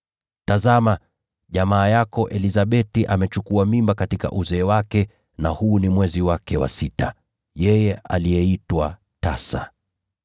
Tazama, jamaa yako Elizabeti amechukua mimba katika uzee wake, na huu ni mwezi wake wa sita, yeye aliyeitwa tasa.